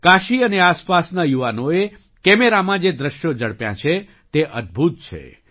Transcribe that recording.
કાશી અને આસપાસના યુવાનોએ કેમેરામાં જે દૃશ્યો ઝડપ્યાં છે તે અદ્ભુત છે